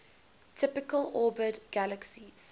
typically orbit galaxies